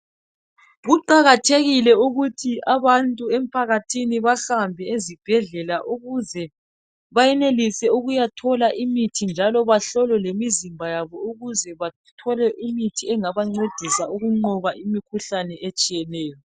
Kuqakathekile ukuthi abantu empakathini bahambe ezibhedlela ukuze bayenelise ukuyathola imithi njalo bahlole lemizimba yabo ukuze bathole imithi engabancedisa ukuncoba imihluhlane etshiyeneyo